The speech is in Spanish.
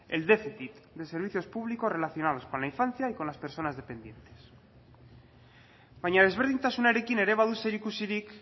el déficit de servicios públicos relacionados con la infancia y con las personas dependientes baina desberdintasunarekin ere badu zerikusirik